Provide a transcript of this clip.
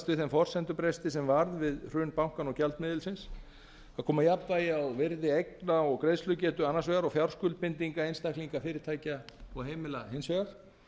þeim forsendubresti sem varð við hrun bankanna og gjaldmiðilsins að koma jafnvægi á virði eigna og greiðslugetu annars vegar og fjárskuldbindingar einstaklinga fyrirtækja og heimila hins vegar